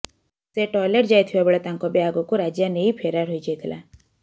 ସେ ଟଏଲେଟ୍ ଯାଇଥିବା ବେଳେ ତାଙ୍କ ବ୍ୟାଗ୍କୁ ରାଜା ନେଇ ଫେରାର୍ ହୋଇଯାଇଥିଲା